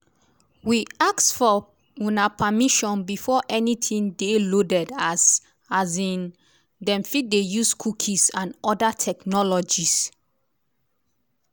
we ask for una permission before anytin dey loaded as um dem fit dey use cookies and oda technologies.